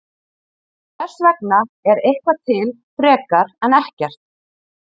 Hvers vegna er eitthvað til frekar en ekkert?